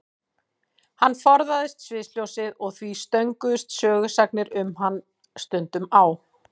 Hann forðaðist sviðsljósið og því stönguðust sögusagnir um hann stundum á.